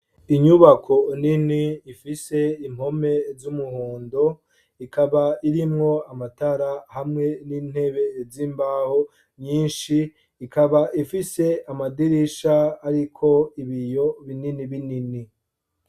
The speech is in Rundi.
inyubako nini ifise impome z'umuhondo ikaba irimwo amatara hamwe n'intebe z'imbaho nyinshi , ikaba ifise amadirisha ariko ibiyo binini binini.